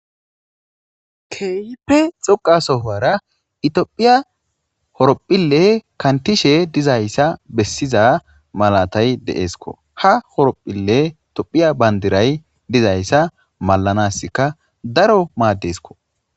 keyipe xoqasohowara itophiya horopphille kantishe dizayssa bessiza malatay deesko ha horopphille itophiya bandiray dizayssa malanaska daro maaddeskko